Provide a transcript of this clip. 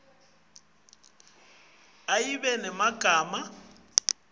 indzabambhalo ayibe nemagama